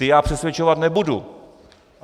Ty já přesvědčovat nebudu.